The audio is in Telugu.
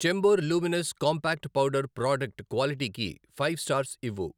Chambor luminous compact powder product క్వాలిటీకి ఫైవ్ స్టార్స్ ఇవ్వు.